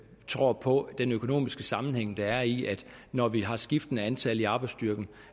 tror på den økonomiske sammenhæng der er i at når vi har skiftende antal i arbejdsstyrken